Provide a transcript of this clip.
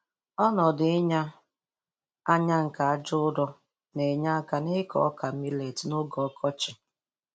Ọnọdụ ịnya anya nke aja ụrọ na-enye aka n'ịkọ ọka milet n'oge ọkọchị.